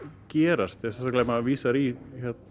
gerast sérstaklega ef maður vísar í